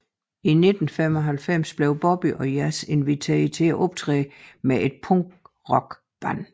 I 1995 blev Bobby og Yas inviteret til at optræde med et punk rock band